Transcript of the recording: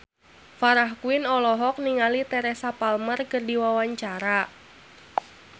Farah Quinn olohok ningali Teresa Palmer keur diwawancara